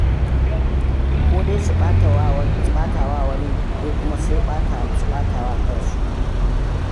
Ko dai su ɓata wa wani, ko kuma su ɓata wa kansu.